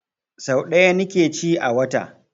Sau ɗaya ni ke ci a wata